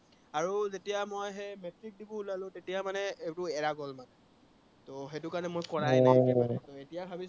আৰু যেতিয়া মই সেই মেট্ৰিক দিব ওলালো তেতিয়া মানে এইবোৰ এৰা গল মানে, সেইটো কাৰনে মানে কৰাই নাই মানে এতিয়া ভাবিছো